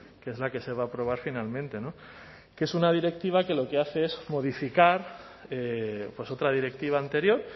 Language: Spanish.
que es la que se va a aprobar finalmente que es una directiva que lo que hace es modificar otra directiva anterior